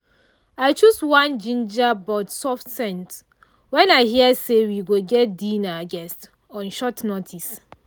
i choose one jinja but soft scent when i hear say we go get dinner guests on short notice.